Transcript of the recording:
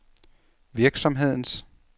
virksomhedens